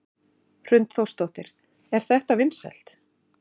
Hrund Þórsdóttir: Er þetta vinsælt?